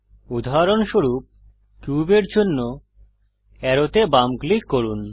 উদাহরণস্বরূপ কিউবের জন্য অ্যারোতে বাম ক্লিক করুন